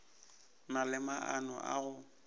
na le maano a go